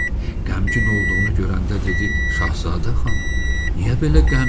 Qəmgin olduğunu görəndə dedi: Şahzadə xanım, niyə belə qəmginsiz?